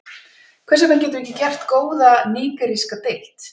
Hvers vegna getum við ekki gert góða nígeríska deild?